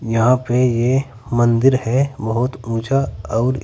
यहां पे ये मंदिर है बहुत ऊंचा और--